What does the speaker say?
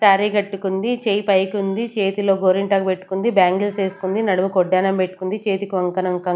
sorry కట్టుకుంది చేయి పైకుంది చేతిలో గోరింటాకు పెట్టుకుంది బ్యాంగిల్స్ ఏస్కుంది నడుకుముకి వడ్డాణం పెట్టుకుంది చేతికి వంకణం కంక్ --